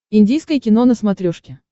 индийское кино на смотрешке